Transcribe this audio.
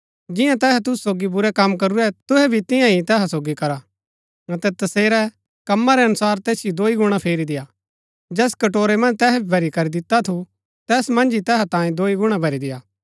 जिन्या तैहै तुसु सोगी बुरै कम करूरै तुहै भी तिन्या ही तैहा सोगी करा अतै तसेरै कम्मा रै अनुसार तैसिओ दोई गुणा फेरी देय्आ जैस कटोरै मन्ज तैहै भरी करी दिता थू तैस मन्ज ही तैहा तांयें दोई गुणा भरी देय्आ